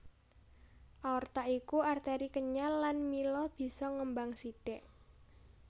Aorta iku arteri kenyal lan mila bisa ngembang sithik